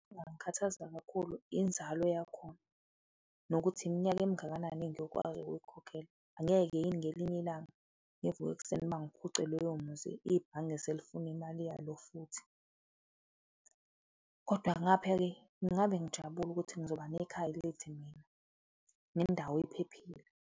Ingangikhathaza kakhulu inzalo yakhona nokuthi iminyaka emingakanani engiyokwazi ukuyikhokhela? Angeke yini ngelinye ilanga ngivuke ekuseni bangiphuce loyo muzi, ibhange selifuna imali yalo futhi? Kodwa ngapha-ke, ngingabe ngijabule ukuthi ngizoba nekhaya elithi mina nendawo iphephile.